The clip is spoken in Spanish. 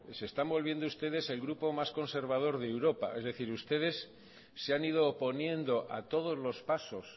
se están volviendo ustedes el grupo más conservador de europa es decir ustedes se han ido oponiendo a todos los pasos